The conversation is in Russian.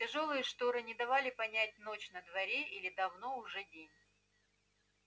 тяжёлые шторы не давали понять ночь на дворе или давно уже день